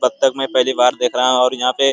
पत्थर मैं पहली बार देख रहा हूँ और यहाँ पे --